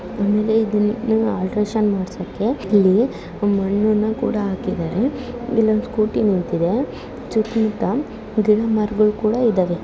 Alteration ಮಾಡ್ಸಕ್ಕೆ ಇಲ್ಲಿ ಮಣ್ಣುನ್ನ ಕೂಡ ಹಾಕಿದ್ದಾರೆ ಇಲ್ಲೊಂದ್ ಸ್ಕೂಟಿ ನಿಂತಿದೆ ಸುತ್ತ್ ಮುತ್ತ ಗಿಡ ಮರಗುಳ್ ಕೂಡ ಇದಾವೆ.